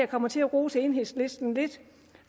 kommer til at rose enhedslisten lidt